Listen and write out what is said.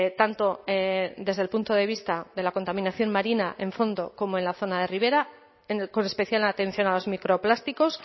tanto desde el punto de vista de la contaminación marina en fondo como en la zona de ribera con especial atención a las microplásticos